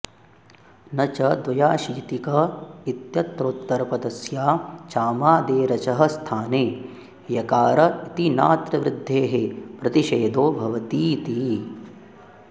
न च द्व्याशीतिक इत्यत्रोत्तरपदस्याचामादेरचः स्थाने यकार इति नात्र वृद्धेः प्रतिषेधो भवतीति